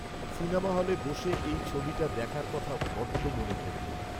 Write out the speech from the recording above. Cinema হলে বসে এই ছবিটা দেখার কথা বড্ড মনে পড়বে।